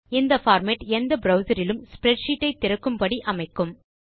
இந்த பார்மேட் எந்த ப்ரவ்சர் இலும் ஸ்ப்ரெட்ஷீட் ஐ திறக்கும்படி அமைக்கும்